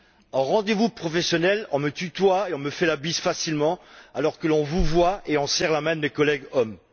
En rendez vous professionnel, on me tutoie et on me fait la bise facilement, alors que l'on vouvoie et qu'on serre la main de mes collègues hommes.